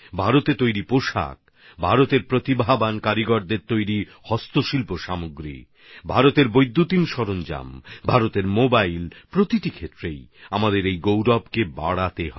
ভারতে তৈরি হওয়া কাপড় ভারতের মেধাবী কারিগরদের তৈরি হস্তশিল্পের পণ্য ভারতের বৈদ্যুতিন উপকরণ ভারতের মোবাইল প্রতিটি ক্ষেত্রে আমাদেরকে এই গৌরবকে বৃদ্ধি করতে হবে